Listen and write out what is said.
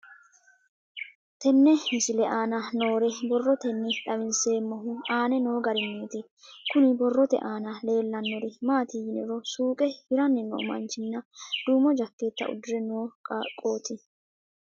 Tenne misile aana noore borroteni xawiseemohu aane noo gariniiti. Kunni borrote aana leelanori maati yiniro suuqe hiranni noo manchinna duumo jakeeta uddire noo qaaqoti.